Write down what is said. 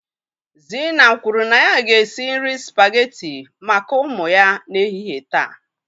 Zina kwuru na ya ga-esi nri spaghetti maka ụmụ ya n'ehihie taa.